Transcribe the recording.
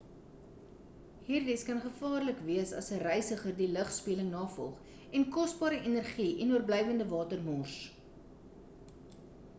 hierdies kan gevaarlik wees as 'n reisiger die lugspieëling navolg en kosbare energie en oorblywende water mors